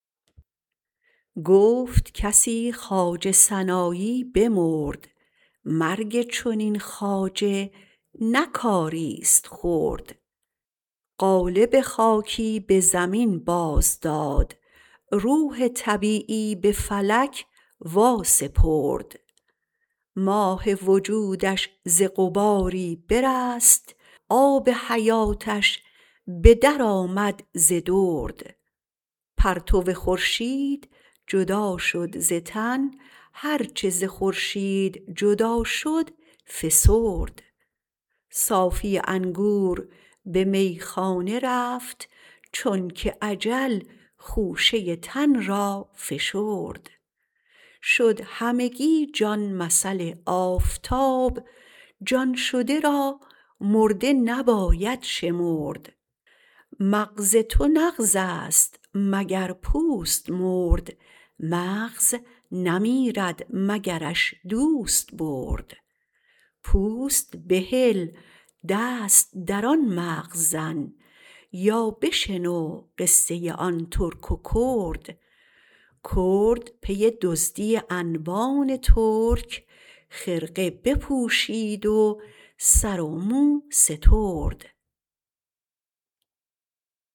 گفت کسی خواجه سنایی بمرد مرگ چنین خواجه نه کاریست خرد قالب خاکی به زمین بازداد روح طبیعی به فلک واسپرد ماه وجودش ز غباری برست آب حیاتش به درآمد ز درد پرتو خورشید جدا شد ز تن هر چه ز خورشید جدا شد فسرد صافی انگور به میخانه رفت چونک اجل خوشه تن را فشرد شد همگی جان مثل آفتاب جان شده را مرده نباید شمرد مغز تو نغزست مگر پوست مرد مغز نمیرد مگرش دوست برد پوست بهل دست در آن مغز زن یا بشنو قصه آن ترک و کرد کرد پی دزدی انبان ترک خرقه بپوشید و سر و مو سترد